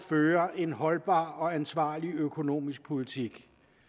føre en holdbar og ansvarlig økonomisk politik